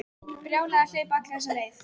Brjálæði að hlaupa alla þessa leið.